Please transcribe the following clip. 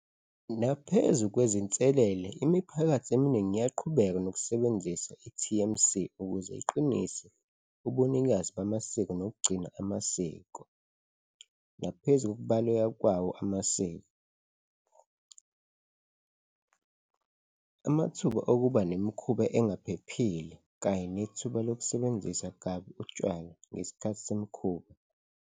Naphezu kwezinselele, imiphakathi eminingi iyaqhubeka nokusebenzisa i-T_M_C ukuze iqinise ubunikazi bamasiko nokugcina amasiko. Naphezu kokubaluleka kwawo amasiko, amathuba okuba nemikhuba engaphephile kanye nethuba lokusebenzisa kabi utshwala ngesikhathi semikhuba.